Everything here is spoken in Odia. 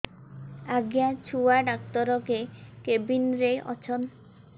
ଆଜ୍ଞା ଛୁଆ ଡାକ୍ତର କେ କେବିନ୍ ରେ ଅଛନ୍